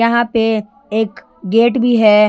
यहां पे एक गेट भी है।